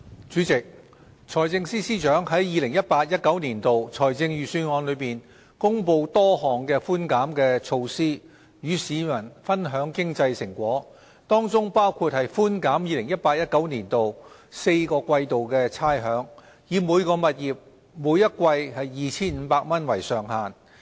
主席，財政司司長在 2018-2019 年度財政預算案中公布多項寬減措施，與市民分享經濟成果，當中包括寬減 2018-2019 年度4季差餉，以每個物業每季 2,500 元為上限。